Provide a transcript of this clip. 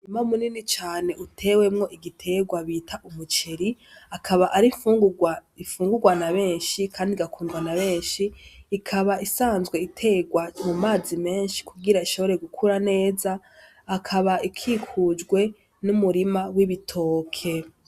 Umurima munini cane utewemwo igiterwa bita umuceri akaba ari imfungurwa ifungurwa nabenshi kandi igakundwa nabenshi ikaba isanzwe iterwa mu mazi menshi kugira ishobore gukura neza akaba ikikujwe n'umurima w'ibitoke.